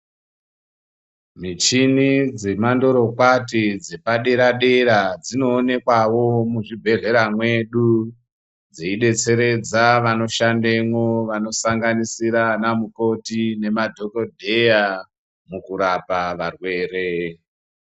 Michini dzemandorokwati dzepadera-dera dzinoonekwavo muzvibhedhlera mwedu. Dziibetseredza vanoshandemwo vanosanganisira vana mukoti nemadhogodheya kurapa varwere.